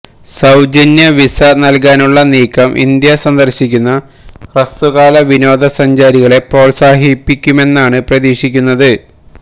സൌജന്യ വിസ നല്കാനുള്ള നീക്കം ഇന്ത്യ സന്ദര്ശിക്കുന്ന ഹ്രസ്വകാല വിനോദ സഞ്ചാരികളെ പ്രോത്സാഹിപ്പിക്കുമെന്നാണ് പ്രതീക്ഷിക്കുന്നത്